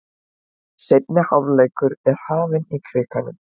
Seinni hálfleikur er hafinn í Krikanum